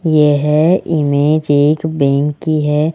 येहे image एक bank की हैं।